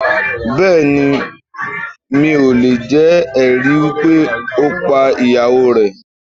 Bẹ́ẹ̀ni, mi ò lè jẹ̀ ẹ̀rí wípé ó pá ìyàwó rẹ̀